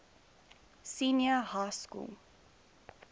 senior high school